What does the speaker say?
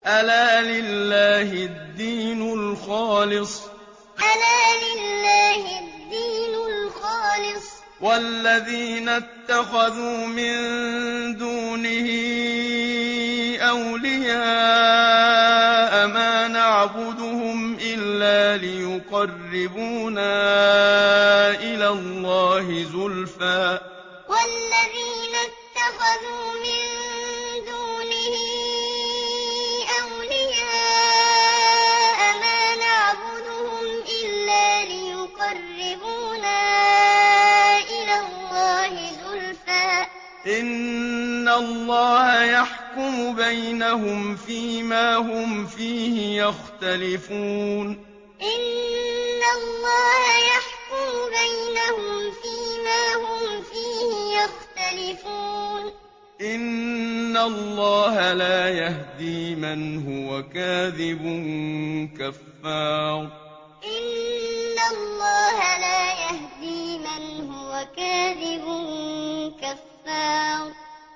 أَلَا لِلَّهِ الدِّينُ الْخَالِصُ ۚ وَالَّذِينَ اتَّخَذُوا مِن دُونِهِ أَوْلِيَاءَ مَا نَعْبُدُهُمْ إِلَّا لِيُقَرِّبُونَا إِلَى اللَّهِ زُلْفَىٰ إِنَّ اللَّهَ يَحْكُمُ بَيْنَهُمْ فِي مَا هُمْ فِيهِ يَخْتَلِفُونَ ۗ إِنَّ اللَّهَ لَا يَهْدِي مَنْ هُوَ كَاذِبٌ كَفَّارٌ أَلَا لِلَّهِ الدِّينُ الْخَالِصُ ۚ وَالَّذِينَ اتَّخَذُوا مِن دُونِهِ أَوْلِيَاءَ مَا نَعْبُدُهُمْ إِلَّا لِيُقَرِّبُونَا إِلَى اللَّهِ زُلْفَىٰ إِنَّ اللَّهَ يَحْكُمُ بَيْنَهُمْ فِي مَا هُمْ فِيهِ يَخْتَلِفُونَ ۗ إِنَّ اللَّهَ لَا يَهْدِي مَنْ هُوَ كَاذِبٌ كَفَّارٌ